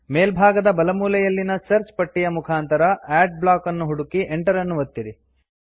ಮೇಲ್ಭಾಗದ ಬಲಮೂಲೆಯಲ್ಲಿನ ಸರ್ಚ್ ಪಟ್ಟಿಯ ಮುಖಾಂತರ ಆಡ್ ಬ್ಲಾಕ್ ಅನ್ನು ಹುಡುಕಿ ಎಂಟರ್ ಅನ್ನು ಒತ್ತಿರಿ